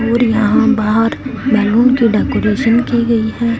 और यहां बाहर बैलून के डेकोरेशन की गई है।